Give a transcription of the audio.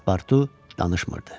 Paspartu danışmırdı.